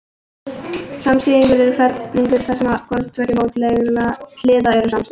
Samsíðungur er ferhyrningur þar sem hvorar tveggja mótlægra hliða eru samsíða.